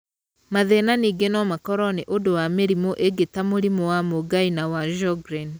Mathĩna ningĩ no makorwo nĩ ũndũ wa mĩrimũ ĩngĩ ta mũrimũ wa mũngai na wa Sjogren.